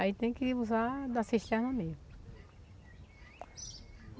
Aí tem que usar da cisterna mesmo.